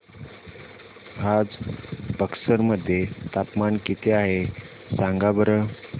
आज बक्सर मध्ये तापमान किती आहे सांगा बरं